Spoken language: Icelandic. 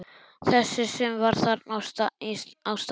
Þessi sem var þarna á staðnum?